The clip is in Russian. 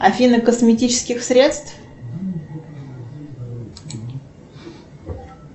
афина косметических средств